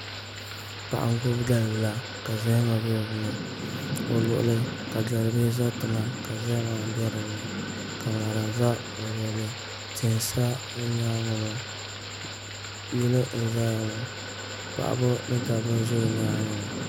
Paɣa n gbubi dalibila ka zahama bɛ dinni o luɣuli ni ka dalibihi ʒɛ tiŋa ka zahama bɛ dinni ka ŋarim ʒɛ o luɣuli tihi n sa o nyaangi ŋɔ yili n ʒɛya ŋɔ paɣaba ni dabba n ʒɛ o nyaangi ŋɔ